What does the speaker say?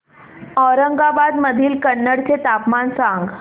औरंगाबाद मधील कन्नड चे तापमान सांग